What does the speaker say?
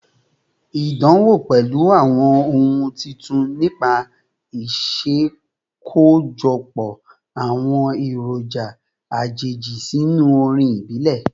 Idánwò pẹlu awọn ohun titun nipa iṣakojọpọ awọn eroja ajeji sinu orin ibile